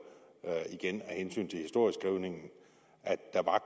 igen af hensyn til historieskrivningen at der